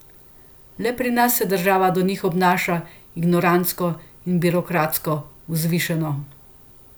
Le pri nas se država do njih obnaša ignorantsko in birokratsko vzvišeno.